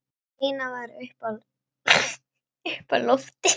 Stína var uppi á lofti.